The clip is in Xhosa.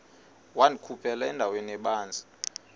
wandikhuphela endaweni ebanzi